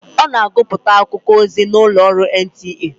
Ọ na agụpụta akụkọ ozi n'ụlọ ọrụ NTA.